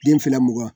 Den fila mugan